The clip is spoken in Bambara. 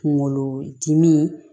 Kunkolodimi